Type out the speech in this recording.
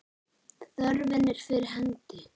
Þörfin er fyrir hendi.